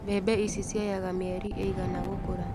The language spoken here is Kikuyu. Mbembe ici cioyaga mĩeri ĩigana gũkũra.